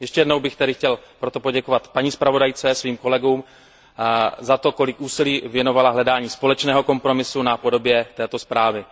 Ještě jednou bych tedy chtěl poděkovat paní zpravodajce a svým kolegům za to, kolik úsilí věnovali hledání společného kompromisu na podobě této zprávy.